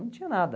Não tinha nada.